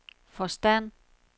forstand